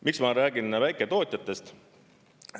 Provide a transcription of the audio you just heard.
Miks ma räägin väiketootjatest?